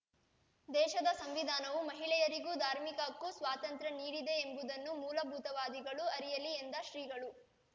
ದೇಶದ ಸಂವಿಧಾನವು ಮಹಿಳೆಯರಿಗೂ ಧಾರ್ಮಿಕ ಹಕ್ಕು ಸ್ವಾತಂತ್ರ್ಯ ನೀಡಿದೆಯೆಂಬುದನ್ನು ಮೂಲಭೂತವಾದಿಗಳು ಅರಿಯಲಿ ಎಂದ ಶ್ರೀಗಳು